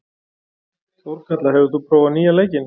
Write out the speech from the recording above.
Þórkatla, hefur þú prófað nýja leikinn?